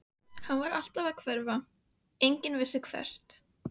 Hann var alltaf að hverfa, enginn vissi hvert.